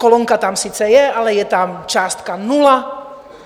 Kolonka tam sice je, ale je tam částka nula.